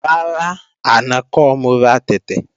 Rárá, àná kọ́ mo ra tẹ̀tẹ̀